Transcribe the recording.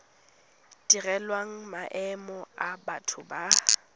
direlwang maemo a batho ba